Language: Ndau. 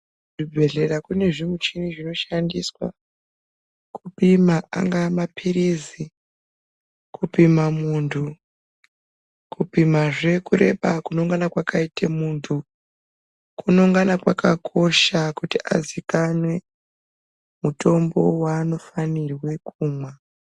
Kuzvibhedhlera kune zvimichini zvinoshandiswa kupima angaa maphirizi, kupima muntu, kupimazve kureba kunongana kwaite muntu. Kunongana kwakakosha kuti azikanwe mutombo waanofanirwe kumwa.